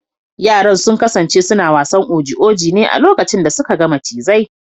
Yaran sun kasance suna wasan oji oji ne a lokacin da suka ga macizai.